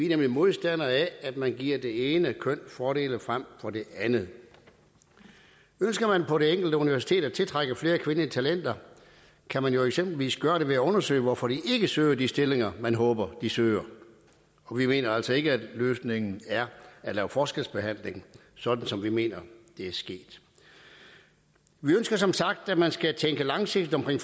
nemlig modstandere af at man giver det ene køn fordele frem for det andet ønsker man på det enkelte universitet at tiltrække flere kvindelige talenter kan man jo eksempelvis gøre det ved at undersøge hvorfor de ikke søger de stillinger man håber de søger og vi mener altså ikke at løsningen er at lave forskelsbehandling sådan som vi mener det er sket vi ønsker som sagt at man skal tænke langsigtet med